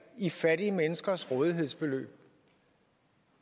i fattige menneskers rådighedsbeløb